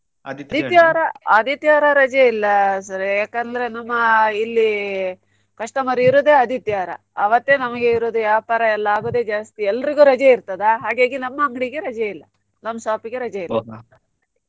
ಆದಿತ್ಯವಾರ ರಜೆ ಇಲ್ಲ sir ಯಾಕಂದ್ರೆ ನಮ್ಮ ಇಲ್ಲಿ customer ಇರುದೆ ಆದಿತ್ಯವಾರ ಆವತ್ತೇ ನಮಿಗೆ ಇರುದು ವ್ಯಾಪಾರ ಎಲ್ಲ ಆಗೋದೇ ಜಾಸ್ತಿ ಎಲ್ರಿಗು ರಜೆ ಇರ್ತದ ಹಾಗಾಗಿ ನಮ್ಮ ಅಂಗ್ಡಿಗೆ ರಜೆ ಇಲ್ಲ ನಮ್ shop ಗೆ ರಜೆ ಇಲ್ಲ.